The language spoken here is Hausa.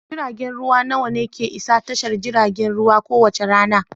Jiragen ruwa nawa ne ke isa tashar jiragen ruwa kowace rana?